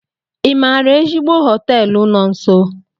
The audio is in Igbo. Ị maara ezigbo họteelu no nso?